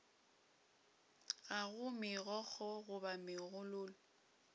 ga go megokgo goba megololo